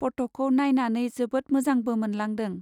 पट'खौ नाइनानै जोबोद मोजांबो मोनलांदों।